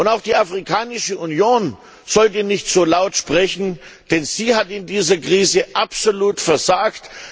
Auch die Afrikanische Union sollte nicht so laut sprechen, denn sie hat in dieser Krise absolut versagt.